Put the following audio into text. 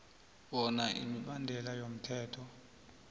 bona imibandela yomthetho